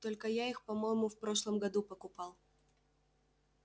только я их по-моему в прошлом году покупал